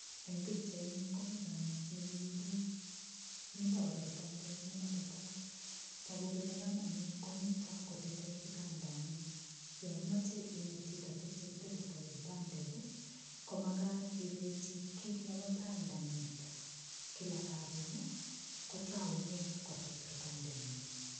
Eng' pikchaini komi kamet nekiing'uruk mito kora kitandet nematetat toku kole kamani komito kotetei kitandani yo imoche inet chito tukche kitetitoi kitandet komakat ilechi kiit nebo tai ndeng'et kila karon kotoune kotet kitandenyi